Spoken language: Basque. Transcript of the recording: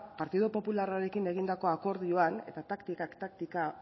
partidu popularrarekin egindako akordioan eta taktikak taktika